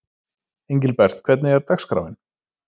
Engilbert, hvernig er dagskráin?